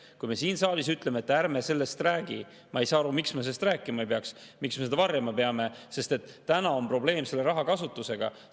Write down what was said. Kui me siin saalis ütleme, et ärme sellest räägi, siis ma ei saa aru, miks me ei peaks sellest rääkima, miks me peame seda varjama, sest täna on selle raha kasutusega probleem.